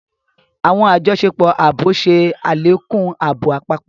Awọn àjọṣepọ̀ ààbò ṣe alekun ààbò àpapọ